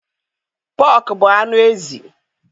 Pọk bu anụ ezi